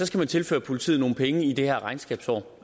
skal man tilføre politiet nogle penge i det her regnskabsår